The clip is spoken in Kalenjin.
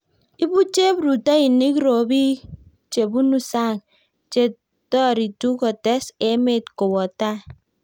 ibu cheprutoinik robik che bunu sang' che toritu kotes emet kowo tai